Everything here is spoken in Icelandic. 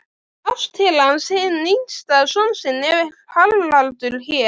Kannski er ég þegar allt kemur til alls mestur kjarkmaðurinn.